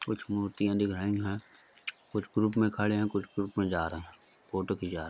कुछ मूर्तियां दिखाई है कुछ ग्रुप में खड़े हैं | कुछ ग्रुप में जा रहे हैं फ़ोटो खिंचा रह --